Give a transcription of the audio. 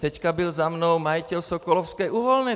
Teď byl za mnou majitel Sokolovské uhelné.